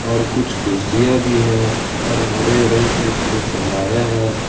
और कुछ कुर्सियां भी है और हरे रंग से इसको सजाया है ।